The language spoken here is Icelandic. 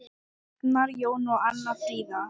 Ragnar Jón og Anna Fríða.